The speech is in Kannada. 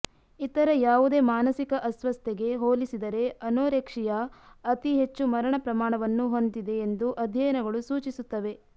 ಇತರ ಯಾವುದೇ ಮಾನಸಿಕ ಅಸ್ವಸ್ಥತೆಗೆ ಹೋಲಿಸಿದರೆ ಅನೋರೆಕ್ಸಿಯಾ ಅತಿ ಹೆಚ್ಚು ಮರಣ ಪ್ರಮಾಣವನ್ನು ಹೊಂದಿದೆ ಎಂದು ಅಧ್ಯಯನಗಳು ಸೂಚಿಸುತ್ತವೆ